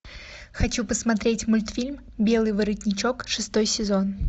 хочу посмотреть мультфильм белый воротничок шестой сезон